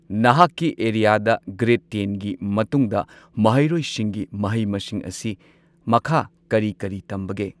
ꯅꯍꯥꯛꯀꯤ ꯑꯦꯔꯤꯌꯥꯗ ꯒ꯭ꯔꯦꯗ ꯇꯦꯟꯒꯤ ꯃꯇꯨꯡꯗ ꯃꯍꯩꯔꯣꯏꯁꯤꯡꯒꯤ ꯃꯍꯩ ꯃꯁꯤꯡ ꯑꯁꯤ ꯃꯈꯥ ꯀꯔꯤ ꯀꯔꯤ ꯇꯝꯕꯒꯦ꯫